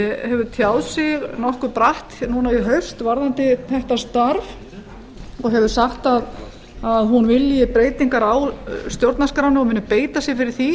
hefur tjáð sig nokkuð bratt í haust varðandi þetta starf og hefur sagt að hún vilji breytingar á stjórnarskránni og muni beita sér fyrir því